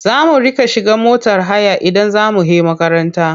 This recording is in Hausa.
Za a mu riƙa shiga motar haya idan za mu he makaranta.